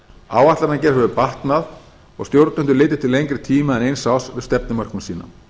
áætlunargerð hefur batnað og stjórnendur litið til lengri tíma en eins árs með stefnumörkun sína